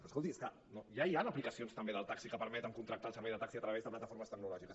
però escolti és que ja hi han aplicacions també del taxi que permeten contractar el servei de taxi a través de plataformes tecnològiques